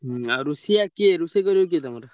ହୁଁ ଆଉ ରୋଷେୟା କିଏ ରୋଷେଇ କରିବ କିଏ ତମର?